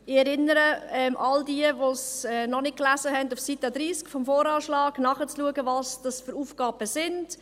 Ich erinnere all jene, die es noch nicht gelesen haben, daran, dass auf Seite 30 des VA nachzulesen ist, um welche Aufgaben es sich handelt.